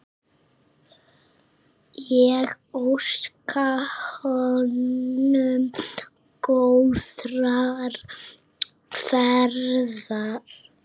Ég óska honum góðrar ferðar.